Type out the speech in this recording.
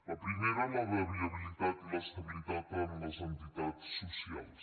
la primera la de viabilitat i l’estabilitat en les entitats socials